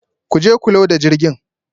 Ku je ku loda jirgin